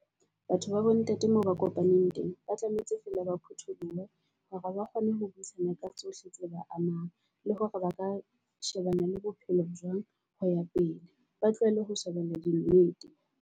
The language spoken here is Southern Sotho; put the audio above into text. Batho ba bo ntate, moo ba kopaneng teng ba tlametse feela ba phuthulohe hore ba kgone ho buisana ka tsohle tse ba amang. Le hore ba ka shebana le bophelo jwang ho ya pele, ba tlohelle ho shebella di nnete.